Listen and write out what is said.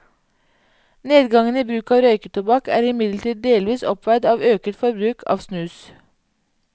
Nedgangen i bruk av røyketobakk er imidlertid delvis oppveid av øket forbruk av snus.